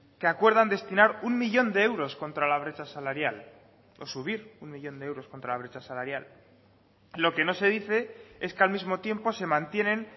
que acuerdan destinar uno millón de euros contra la brecha salarial o subir un millón de euros contra la brecha salarial lo que no se dice es que al mismo tiempo se mantienen